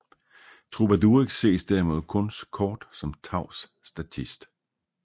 Trubadurix ses derimod kun kort som tavs statist